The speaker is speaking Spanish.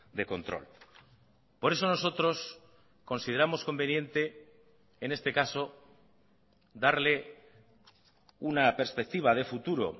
de control por eso nosotros consideramos conveniente en este caso darle una perspectiva de futuro